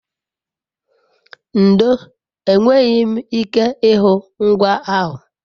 ndo, enweghi m ike ihu ngwa ahu